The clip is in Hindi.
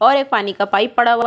और एक पानी का पाइप पड़ा हुआ--